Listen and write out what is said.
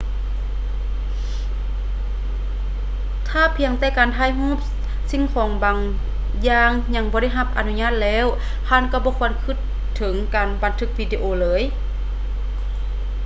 ຖ້າພຽງແຕ່ການຖ່າຍຮູບສິ່ງຂອງບາງຢ່າງຍັງບໍ່ໄດ້ຮັບອະນຸຍາດແລ້ວ ທ່ານກໍບໍ່ຄວນຄິດເຖິງການບັນທຶກວິດີໂອເລີຍ